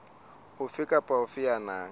ofe kapa ofe ya nang